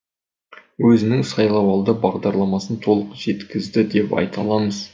өзінің сайлауалды бағдарламасын толық жеткізді деп айта аламыз